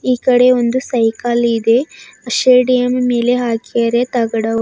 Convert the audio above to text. ಈ ಕಡೆ ಒಂದು ಸೈಕಲ್ ಇದೆ ಶೇಡಿಯಂ ಮೇಲೆ ಹಾಕ್ಯಾರೆ ತಗಡವು--